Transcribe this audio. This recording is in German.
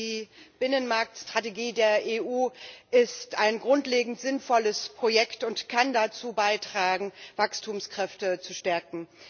Die Binnenmarktstrategie der EU ist ein grundlegend sinnvolles Projekt und kann dazu beitragen, Wachstumskräfte zu stärken.